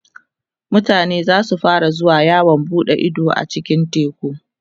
mutane zasu fara zuwa yawon buɗe Ido a cikin teku